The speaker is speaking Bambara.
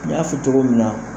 N y'a fɔ cogo min na.